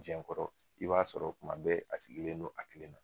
jɛn Kɔrɔ i b'a sɔrɔ kuma bɛɛ a sigilen don a kelen na.